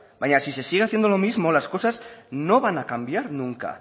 baina si se sigue haciendo lo mismo las cosas no van a cambiar nunca